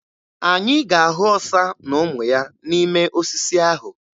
Anyị ga-ahụ ọsa na ụmụ ya n'ime osisi ahụ.